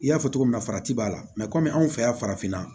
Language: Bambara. I y'a fɔ cogo min na farati b'a la kɔmi anw fɛ yan farafinna